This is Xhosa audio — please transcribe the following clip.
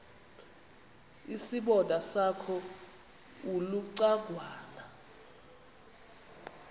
isibonda sakho ulucangwana